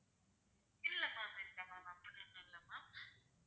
இல்லை ma'am இல்லை ma'am அப்படி ஒண்ணும் இல்லை ma'am